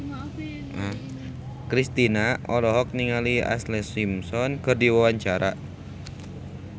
Kristina olohok ningali Ashlee Simpson keur diwawancara